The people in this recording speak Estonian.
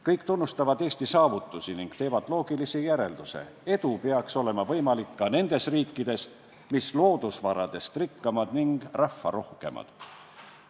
Kõik tunnustavad Eesti saavutusi ning teevad loogilise järelduse: edu peaks olema võimalik ka nendes riikides, mis loodusvaradest rikkamad ja rahvarohkemad.